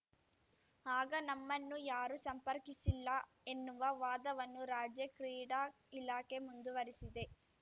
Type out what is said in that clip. ಆಗ ನಮ್ಮನ್ನು ಯಾರೂ ಸಂಪರ್ಕಿಸಿಲ್ಲ ಎನ್ನುವ ವಾದವನ್ನು ರಾಜ್ಯ ಕ್ರೀಡಾ ಇಲಾಖೆ ಮುಂದುವರಿಸಿದೆ